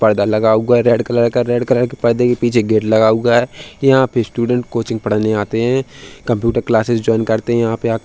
पर्दा लगा हुआ रेड कलर का। रेड कलर के पर्दे के पीछे गेट लगा हुआ है। यहाँ पे स्टूडेंट कोचिंग पढ़ने आते हैं। कंप्यूटर क्लासेज ज्वाइन करते हैं। यहाँ पे आ --